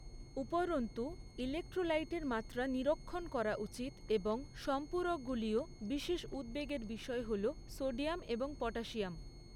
উপরন্তু, ইলেক্ট্রোলাইটের মাত্রা নিরীক্ষণ করা উচিত এবং সম্পূরকগুলিও; বিশেষ উদ্বেগের বিষয় হল সোডিয়াম এবং পটাসিয়াম।